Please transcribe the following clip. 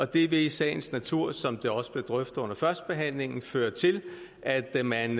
det vil i sagens natur som det også blev drøftet under førstebehandlingen føre til at man